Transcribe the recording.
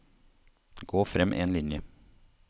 Gå frem én linje